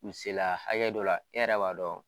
Miselaa hakɛ dɔ la e yɛrɛ b'a dɔn